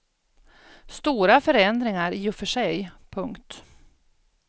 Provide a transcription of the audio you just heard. Stora förändringar i och för sig. punkt